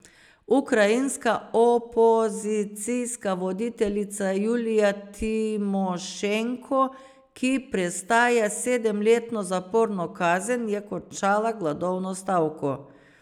Ukrajinska opozicijska voditeljica Julija Timošenko, ki prestaja sedemletno zaporno kazen, je končala gladovno stavko.